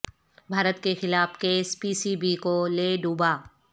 بھارت کیخلاف case P C B کو لے ڈوبا